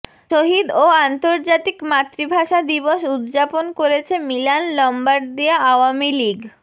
শহীদ ও আন্তর্জাতিক মাতৃভাষা দিবস উদযাপন করেছে মিলান লম্বার্দিয়া আওয়ামী লীগ